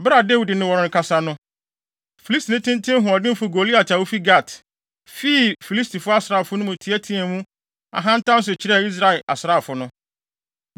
Bere a Dawid ne wɔn rekasa no, Filistini tenten hoɔdenfo Goliat a ofi Gat, fii Filistifo asraafo no mu teɛteɛɛ mu ahantan so kyerɛɛ Israel asraafo no.